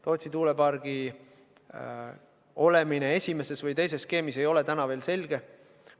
Tootsi tuulepargi olemine esimeses või teises skeemis ei ole veel selge.